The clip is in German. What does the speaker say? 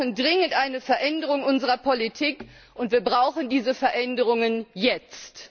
Wir brauchen dringend eine Veränderung unserer Politik, und wir brauchen diese Veränderungen jetzt.